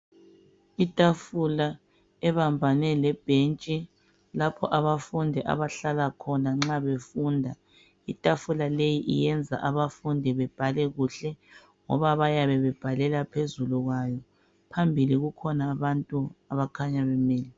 Itafula ebebambane lebhentshi lapho abafundi abahlala khona nxa befunda itafula leyi iyenza abafundi bebhale kuhle ngoba bayabe bebhalela phezulu kwayo phambili kukhona abantu abakhanya bemile.